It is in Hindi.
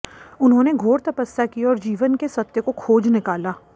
उन्होंने घोर तपस्या की और जीवन के सत्य को खोज निकाला